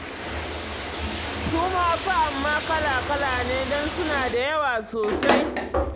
Su ma fa amma kala-kala ne, don suna da yawa sosai.